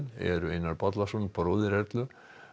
eru Einar Bollason bróðir Erlu